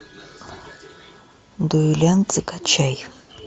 дуэлянт закачай